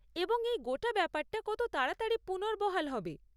এবং এই গোটা ব্যাপারটা কত তাড়াতাড়ি পুনর্বহাল হবে?